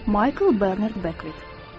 Maykl Bernard Beker.